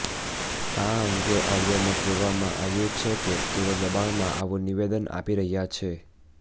આ અંગે ઓડિયોમાં કહેવામાં આવ્યું છે કે તેઓ દબાણમાં આવું નિવેદન આપી રહ્યા છે